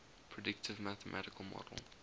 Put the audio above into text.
predictive mathematical model